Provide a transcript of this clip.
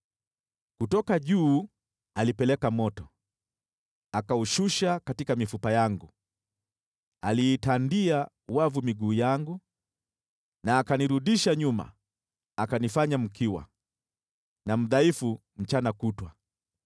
“Kutoka juu alipeleka moto, akaushusha katika mifupa yangu. Aliitandia wavu miguu yangu na akanirudisha nyuma. Akanifanya mkiwa, na mdhaifu mchana kutwa.